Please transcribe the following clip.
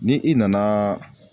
Ni i nana